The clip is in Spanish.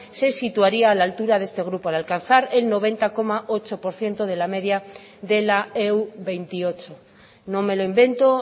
se situaría a la altura de este grupo al alcanzar el noventa coma ocho por ciento de la media de la e u veintiocho no me lo invento